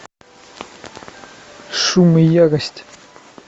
шум и ярость